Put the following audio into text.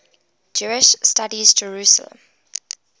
jewish studies jerusalem